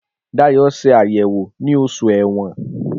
Dayọ̀ ṣe àyẹ̀wò ní Oṣù Ẹ̀wọ̀n